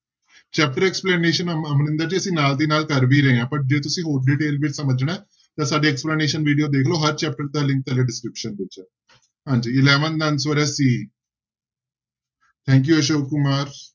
Chapter explanation ਅ~ ਅਮਰਿੰਦਰ ਜੀ ਅਸੀਂ ਨਾਲ ਦੀ ਨਾਲ ਕਰ ਵੀ ਰਹੇ ਹਾਂ but ਜੇ ਤੁਸੀਂ ਹੋਰ detail ਵਿੱਚ ਸਮਝਣਾ ਹੈ ਤਾਂ ਸਾਡੇ explanation video ਦੇਖ ਲਓ ਹਰ chapter ਦਾ link description ਵਿੱਚ ਹਾਂਜੀ eleven ਦਾ answer ਹੈ c thank you Ashok Kumar.